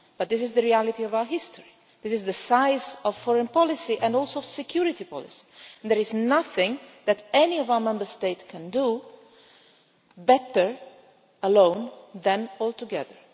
But this is the reality of our history. This is the size of foreign policy and also security policy, and there is nothing that any of our Member States can do better alone than all together.